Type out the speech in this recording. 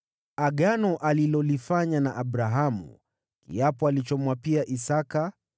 agano alilolifanya na Abrahamu, kiapo alichomwapia Isaki.